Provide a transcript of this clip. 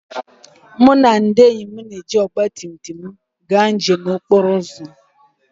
Mụ na ndị enyi m ga-eji ọgba tum tum anyị gaa njem okporo ụzọ